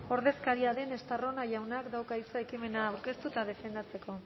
ordezkaria den estarrona jaunak dauka hitza ekimena aurkeztu eta defendatzeko